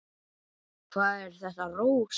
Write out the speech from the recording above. Hvað er þetta, Rósa?